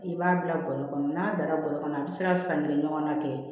I b'a bila bɔrɛ kɔnɔ n'a dara bɔrɛ kɔnɔ a bɛ se ka san kelen ɲɔgɔnna kɛ